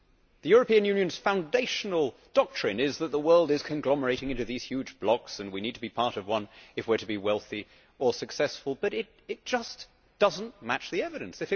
The European Union's foundational doctrine is that the world is conglomerating into these huge blocks and we need to be part of one if we are to be wealthy or successful, but it just does not match the evidence.